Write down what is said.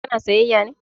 Ka na sayyaya ne?